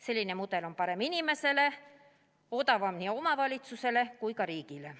Selline mudel on parem inimesele ning odavam nii omavalitsustele kui ka riigile.